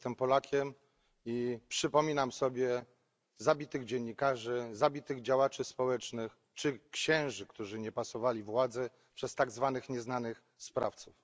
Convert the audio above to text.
Jestem Polakiem i przypominam sobie zabitych dziennikarzy, działaczy społecznych czy księży, którzy nie pasowali władzy, zabitych przez tak zwanych nieznanych sprawców.